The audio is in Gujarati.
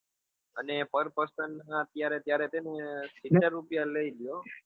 અને par person ના અત્યારે જ્યારે છે ને સિત્તેર રૂપિયા લે છે હો